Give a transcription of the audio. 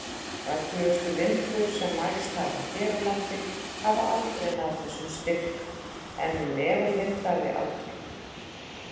Öflugustu vindhviður sem mælst hafa hér á landi hafa náð þessum styrk, en meðalvindhraði aldrei.